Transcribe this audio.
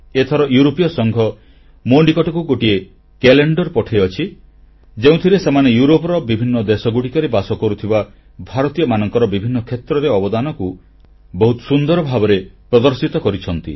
ଏଥର ୟୁରୋପୀୟ ସଂଘ ମୋ ନିକଟକୁ ଗୋଟିଏ କ୍ୟାଲେଣ୍ଡର ପଠାଇଛି ଯେଉଁଥିରେ ସେମାନେ ୟୁରୋପର ବିଭିନ୍ନ ଦେଶରେ ବାସ କରୁଥିବା ଭାରତୀୟମାନଙ୍କ ବିଭିନ୍ନ କ୍ଷେତ୍ରରେ ଅବଦାନକୁ ବହୁତ ସୁନ୍ଦର ଭାବରେ ପ୍ରଦର୍ଶିତ କରିଛନ୍ତି